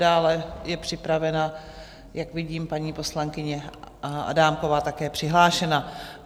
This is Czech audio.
Dále je připravena, jak vidím, paní poslankyně Adámková, také je přihlášena.